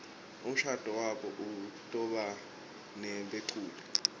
umshado wabo utobanebeculi